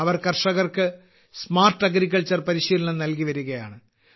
അവർ കർഷകർക്ക് smart agriculture പരിശീലനം നൽകിവരികയാണ്